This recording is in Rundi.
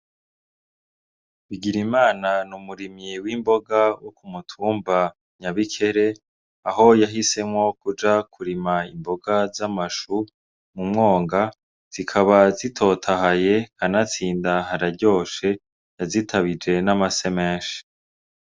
Bigirimana n'umurimyi w'imboga wok'umutumba nyabikere aho yahisemwo kuja kurima imboga z'amashu kumwonga zikabazitotahaye kanatsinda hararyoshe bazitabije n'amase menshi.